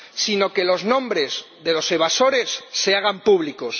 sino que los nombres de los evasores se hagan públicos.